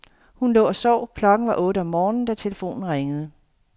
Hun lå og sov, klokken var otte om morgen, da telefonen ringede.